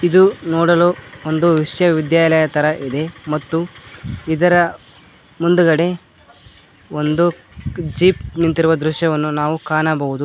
ಇದು ನೋಡಲು ಒಂದು ವಿಶ್ವ ವಿದ್ಯಾಲಯ ತರ ಇದೆ ಮತ್ತು ಇದರ ಮುಂದುಗಡೆ ಒಂದು ಜೀಪ್ ನಿಂತಿರುವ ದೃಶ್ಯವನ್ನು ನಾವು ಕಾಣಬಹುದು.